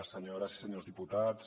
senyores i senyors diputats